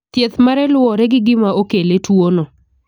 Thieth mare luwore gi gima okele tuono.